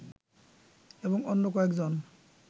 এবং অন্য কয়েকজন